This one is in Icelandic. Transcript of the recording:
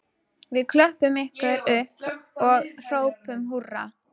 Við klöppum ykkur upp og hrópum húrra